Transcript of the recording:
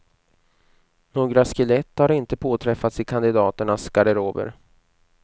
Några skelett har inte påträffats i kandidaternas garderober.